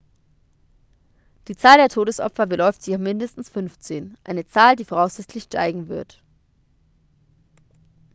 die zahl der todesopfer beläuft sich auf mindestens 15 eine zahl die voraussichtlich steigen wird